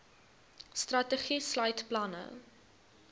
strategie sluit planne